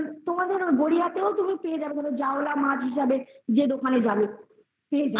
তোমাদের গড়িয়াতেও তুমি পেয়ে যাবে ওই জাউলা মাছ হিসেবে যে দোকানে যাবে পেয়ে যাবে